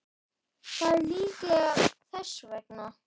Það er líklega þess vegna.